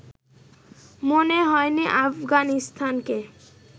মনে হয়নি আফগানিস্তানকে